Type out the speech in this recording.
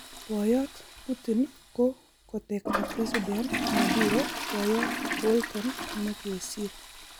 Boyot Putin ko kotekta president Maduro, boiyot Bolton ne kisir.